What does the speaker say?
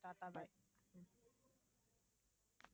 ta-ta bye